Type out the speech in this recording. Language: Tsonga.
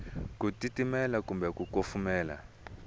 ku titimela kumbe ku kufumela